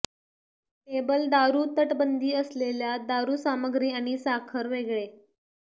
table दारू तटबंदी असलेल्या दारू सामग्री आणि साखर वेगळे